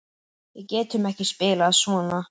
Við getum ekki spilað svona.